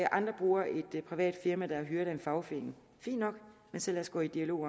andre bruger et privat firma der er hyret af en fagforening fint nok men så lad os gå i dialog